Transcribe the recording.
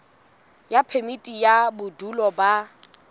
ya phemiti ya bodulo ba